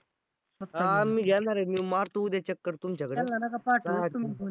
मी घेणार आहे. मी मारतो उद्या चक्कर तुमच्या कडे